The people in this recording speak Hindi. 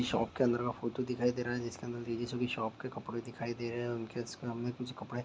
शॉप के अंदर का फोटो दिखाई दे रहा है जिस के अंदर शॉप के कपड़े दिखाई दे रहा है उनके कुछ कपड़े--